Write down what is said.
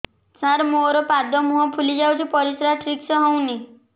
ସାର ମୋରୋ ପାଦ ମୁହଁ ଫୁଲିଯାଉଛି ପରିଶ୍ରା ଠିକ ସେ ହଉନି